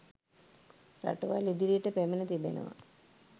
රටවල් ඉදිරියට පැමිණ තිබෙනවා